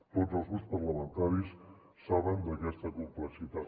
tots els grups parlamentaris saben aquesta complexitat